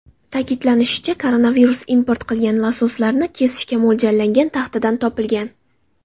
Ta’kidlanishicha, koronavirus import qilingan lososlarni kesishga mo‘ljallangan taxtadan topilgan.